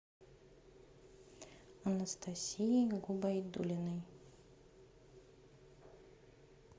анастасией губайдуллиной